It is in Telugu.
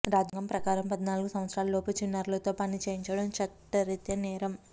రాజ్యాంగం ప్రకారం పద్నాలుగు సంవత్సరాల లోపు చిన్నారులతో పని చేయించడం చట్టరిత్యా నేరం